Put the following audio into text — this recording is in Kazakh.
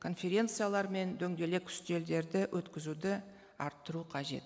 конференциялар мен дөңгелек үстелдерді өткізуді арттыру қажет